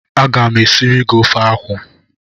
A ga m e siri gi ofe akwụ.